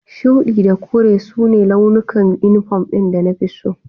Shuɗi da kore su ne launukan inifom ɗin da na fi so